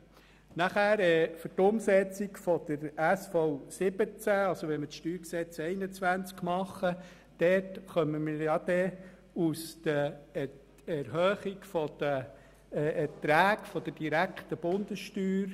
Wenn wir die StG-Revision 2021 für die Umsetzung der SV17 machen, erhält der Kanton Geld aus der Erhöhung der Erträge der direkten Bundessteuer.